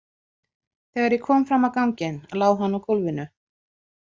Þegar ég kom fram á ganginn lá hann á gólfinu.